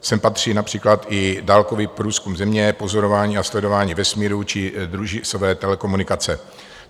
Sem patří například i dálkový průzkum Země, pozorování a sledování vesmíru či družicové telekomunikace.